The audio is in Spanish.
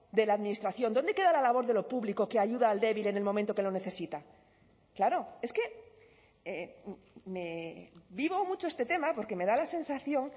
de la administración dónde queda la labor de lo público que ayuda al débil en el momento que lo necesita claro es que vivo mucho este tema porque me da la sensación